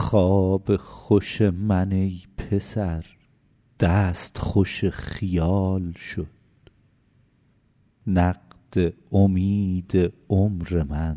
خواب خوش من ای پسر دست خوش خیال شد نقد امید عمر من